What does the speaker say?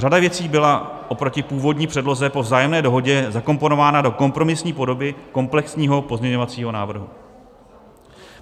Řada věcí byla oproti původní předloze po vzájemné dohodě zakomponována do kompromisní podoby komplexního pozměňovacího návrhu.